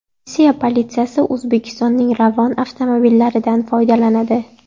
Rossiya politsiyasi O‘zbekistonning Ravon avtomobillaridan foydalanadi.